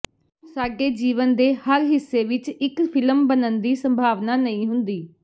ਸਾਡੇ ਜੀਵਨ ਦੇ ਹਰ ਹਿੱਸੇ ਵਿੱਚ ਇੱਕ ਫਿਲਮ ਬਣਨ ਦੀ ਸੰਭਾਵਨਾ ਨਹੀਂ ਹੁੰਦੀ